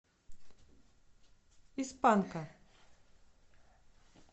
из панка